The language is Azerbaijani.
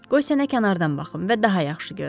Qoy sənə kənardan baxım və daha yaxşı görüm.